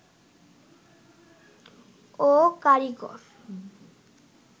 ও কারিগর